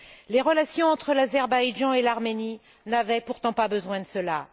Les relations entre l'Azerbaïdjan et l'Arménie n'avaient pourtant pas besoin de cela.